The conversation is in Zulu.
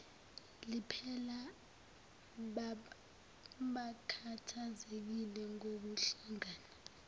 liphela bakhathazekile ngokudlanga